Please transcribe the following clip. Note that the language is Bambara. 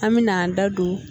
An bɛna an da don